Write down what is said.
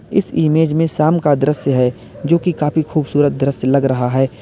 इस इमेज में शाम का दृश्य है जो की काफी खूबसूरत लग रहा है।